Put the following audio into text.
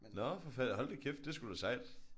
Nå for fanden hold da kæft! Det er da sgu da sejt